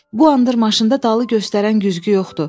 "Bu anıdır maşında dalı göstərən güzgü yoxdur.